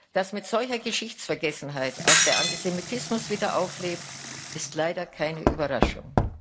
Dass mit solcher Geschichtsvergessenheit auch der Antisemitismus wieder auflebt, ist leider keine Überraschung.